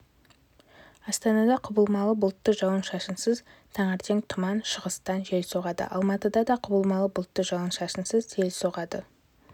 астанада құбылмалы бұлтты жауын-шашынсыз таңертең тұман шығыстан жел соғады алматыда да құбылмалы бұлтты жауын-шашынсыз жел соғады